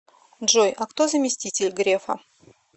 джой а кто заместитель грефа